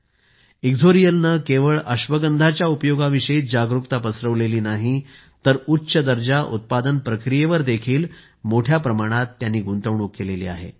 इक्सोरियल इक्सोरियल ने केवळ अश्वगंधाच्या उपयोगाविषयीच जागरूकता पसरविली नाही तर उच्च दर्जा उत्पादन प्रक्रियेवर देखील मोठ्या प्रमाणात गुंतवणूक केली आहे